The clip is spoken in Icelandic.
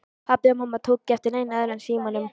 Pabbi og mamma tóku ekki eftir neinu öðru en símanum.